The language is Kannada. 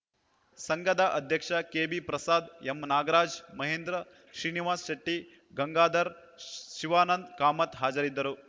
ಸಂಘದ ಅಧ್ಯಕ್ಷ ಕೆಬಿಪ್ರಸಾದ್‌ ಎಂನಾಗರಾಜ್‌ ಮಹೇಂದ್ರ ಶ್ರೀನಿವಾಸ್‌ ಶೆಟ್ಟಿ ಗಂಗಾಧರ್‌ ಶಿವಾನಂದ ಕಾಮತ್‌ ಹಾಜರಿದ್ದರು